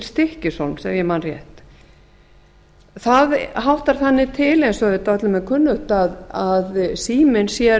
ég man rétt það háttar þannig til eins og auðvitað öllum er kunnugt að síminn sér